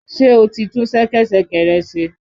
Ṣé o ti tún ṣẹkẹ́ṣẹkẹ̀ rẹ ṣe?